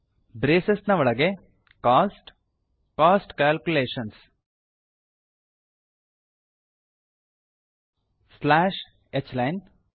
braces ಒಳಗೆ cost - cost calculations slash h line